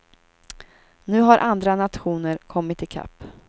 Nu har andra nationer kommit i kapp.